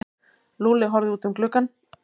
Lúlli horfði út um gluggann.